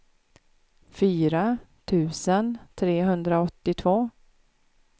fyra tusen trehundraåttiotvå